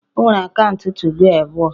O nwere akaụntụ 2go abụọ